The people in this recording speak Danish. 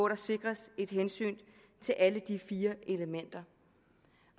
der sikres et hensyn til alle de fire elementer